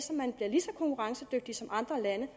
lige så konkurrencedygtig som andre lande